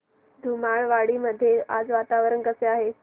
धुमाळवाडी मध्ये आज वातावरण कसे आहे